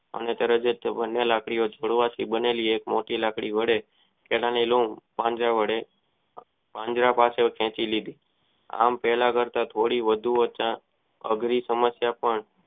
લાકડીના પાંજરા વડે વંદરા પાસે ખેચી લીધી આમ પહેલા કરતા થોડી વધુ અઘરી સમસીયતો